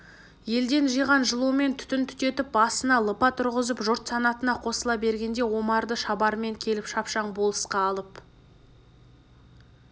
елден жиған жылумен түтін түтетіп басына лыпа тұрғызып жұрт санатына қосыла бергенде омарды шабарман келіп шапшаң болысқа алып